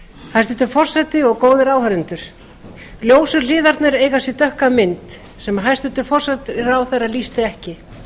hæstvirtur forseti og góðir áheyrendur ljósu hliðarnar eiga sér dökka mynd sem hæstvirtur forsætisráðherra lýsti ekki